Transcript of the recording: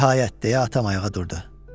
Nəhayət, de atam ayağa durdu.